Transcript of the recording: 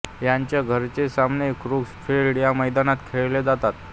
याचे घरचे सामने कूर्स फील्ड या मैदानात खेळले जातात